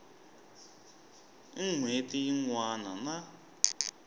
n hweti yin wana na